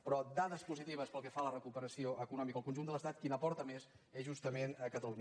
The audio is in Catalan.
però de dades positives pel que fa a la recuperació econòmica al conjunt de l’estat qui n’aporta més és justament catalunya